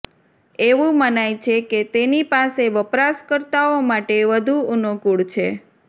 એવું મનાય છે કે તેની પાસે વપરાશકર્તાઓ માટે વધુ અનુકૂળ છે